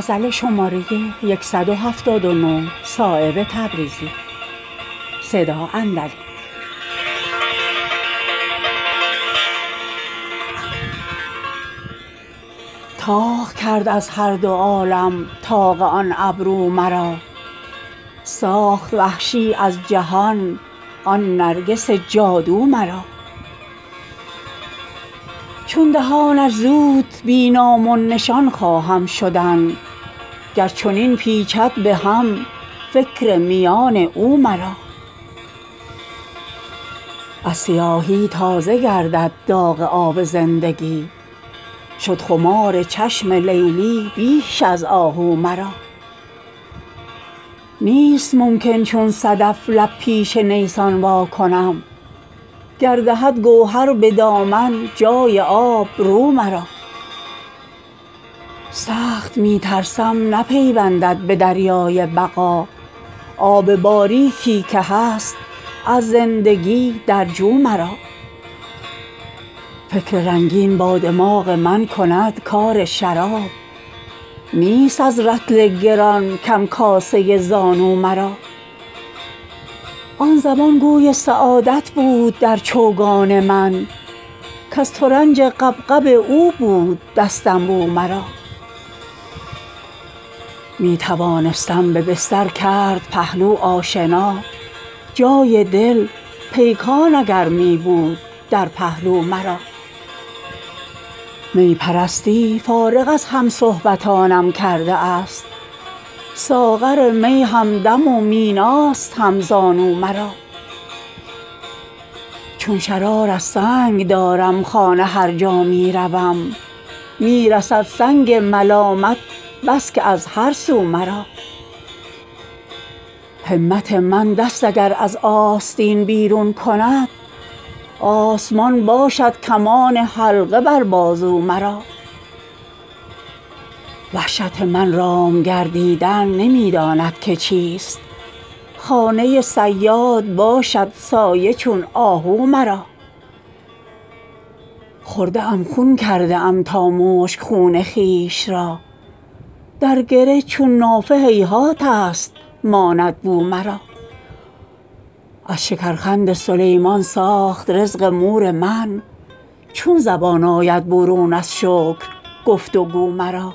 طاق کرد از هر دو عالم طاق آن ابرو مرا ساخت وحشی از جهان آن نرگس جادو مرا چون دهانش زود بی نام و نشان خواهم شدن گر چنین پیچد به هم فکر میان او مرا از سیاهی تازه گردد داغ آب زندگی شد خمار چشم لیلی بیش از آه او مرا نیست ممکن چون صدف لب پیش نیسان واکنم گر دهد گوهر به دامن جای آب رو مرا سخت می ترسم نپیوندد به دریای بقا آب باریکی که هست از زندگی در جو مرا فکر رنگین با دماغ من کند کار شراب نیست از رطل گران کم کاسه ای زان او مرا آن زمان گوی سعادت بود در چوگان من کز ترنج غبغب او بود دستنبو مرا می توانستم به بستر کرد پهلو آشنا جای دل پیکان اگر می بود در پهلو مرا می پرستی فارغ از همصحبتانم کرده است ساغر می همدم و میناست همزانو مرا چون شرار از سنگ دارم خانه هر جا می روم می رسد سنگ ملامت بس که از هر سو مرا همت من دست اگر از آستین بیرون کند آسمان باشد کمان حلقه بر بازو مرا وحشت من رام گردیدن نمی داند که چیست خانه صیاد باشد سایه چون آهو مرا خورده ام خون کرده ام تا مشک خون خویش را در گره چون نافه هیهات است ماند بو مرا از شکر خند سلیمان ساخت رزق مور من چون زبان آید برون از شکر گفت و گو مرا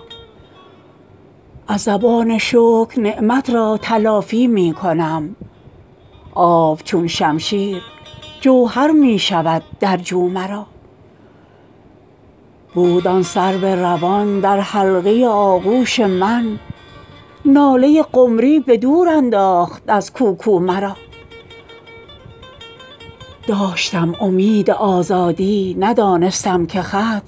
از زبان شکر نعمت را تلافی می کنم آب چون جوهر شمشیر می شود در جو مرا بود آن سرو روان در حلقه آغوش من ناله قمری به دور انداخت از کوکو مرا داشتم امید آزادی ندانستم که خط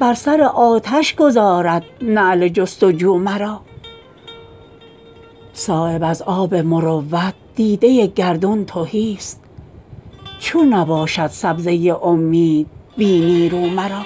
بر سر آتش گذارد نعل جست و جو مرا صایب از آب مروت دیده گردون تهی است چون نباشد سبزه امید بی نیرو مرا